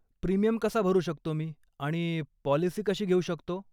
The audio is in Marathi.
प्रीमियम कसा भरू शकतो मी आणि पॉलिसी कशी घेऊ शकतो ?